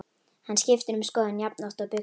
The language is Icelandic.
Hann skiptir um skoðun jafnoft og buxur.